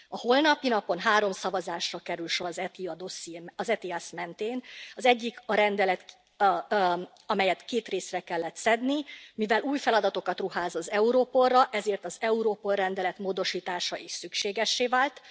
A holnapi napon három szavazásra kerül sor az ETIAS mentén az egyik a rendelet, amelyet két részre kellett szedni, mivel új feladatokat ruház az Europolra, ezért az Europol rendelet módosítása is szükségessé vált.